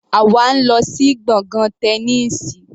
Àwa ń lọ sí gbọ̀ngàn Tẹniísì.